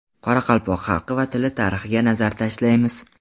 Qoraqalpoq xalqi va tili tarixiga nazar tashlaymiz.